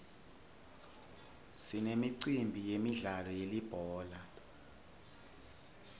sinemicimbi yemidlalo yelibhola